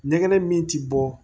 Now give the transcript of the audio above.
Ɲɛgɛn min ti bɔ